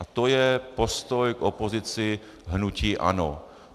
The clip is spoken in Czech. A to je postoj k opozici hnutí ANO.